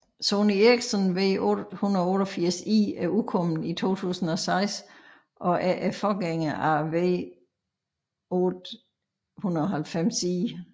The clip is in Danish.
Sony Ericsson W880i er udkommet 2006 og forgængeren af W890i